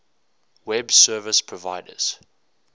web service providers